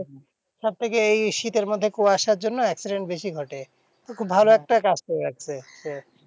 সবথেকে এই শীতের মধ্যে কুয়াশার জন্য accident বেশি ঘটে, তো খুব ভালো একটা কাজ করে রাখছে।